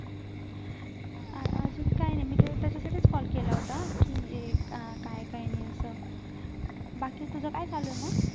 अजून काही नाही मी ते त्याच्यासाठीच call केला होता की अं काय काय नि असं बाकी तुझं काय चालू आहे मग